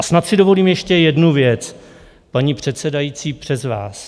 A snad si dovolím ještě jednu věc, paní předsedající, přes vás.